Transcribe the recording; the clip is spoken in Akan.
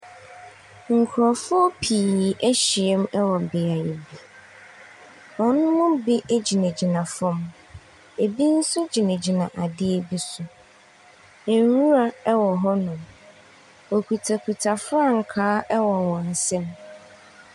Nkurɔfoɔ pii ahyia mu wɔ beaeɛ bi, wɔn mu bi gyinagyina fam, bi nso gyinagyina adeɛ bi so. Nwura wɔ hɔnom. Wokitakita frankaa wɔ wɔn nsa mu.